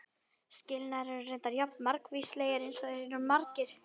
Skilnaðir eru reyndar jafn margvíslegir eins og þeir eru margir.